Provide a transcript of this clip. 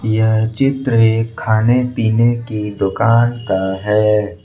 यह चित्र एक खाने पीने की दुकान का है।